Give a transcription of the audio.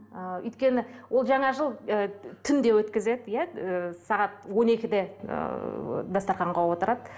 ы өйткені ол жаңа жыл ы түнде өткізеді иә ы сағат он екіде ыыы дастарханға отырады